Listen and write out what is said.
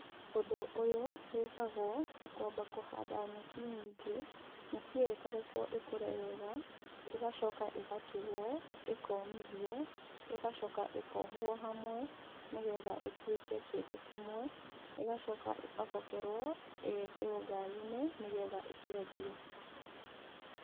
Ũndũ ũyũ wĩkagwo na kwamba kũhanda nyeki nyingĩ, nyeki ĩyo ĩkarekwo ĩkũre wega, ĩgacoka ĩgatuo, ĩkomithio, ĩgacoka ĩkohwo hamwe, nĩ getha ĩtuĩke kĩndũ kĩmwe, ĩgacoka ĩgabokerwo ĩgekĩrwo ngari-inĩ, nĩ getha ĩkendio.